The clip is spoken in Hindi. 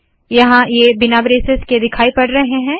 यहाँ ये बिना ब्रेसेस के दिखाई पड़ रहे है